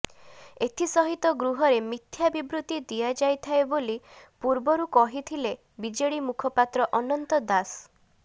ଏଥିସହିତ ଗୃହରେ ମିଥ୍ୟା ବିବୃତ୍ତି ଦିଆଯାଇଥାଏ ବୋଲି ପୂର୍ବରୁ କହିଥିଲେ ବିଜେଡି ମୁଖପାତ୍ର ଅନନ୍ତ ଦାସ